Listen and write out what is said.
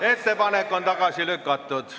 Ettepanek on tagasi lükatud.